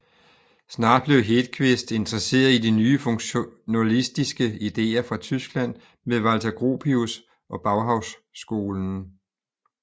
Snart blev Hedqvist interesseret i de nye funktionalistiske idéer fra Tyskland med Walter Gropius og Bauhausskolen